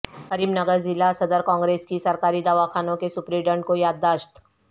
کریم نگر ضلع صدر کانگریس کی سرکاری دواخانوں کے سپرنٹنڈنٹ کو یادداشت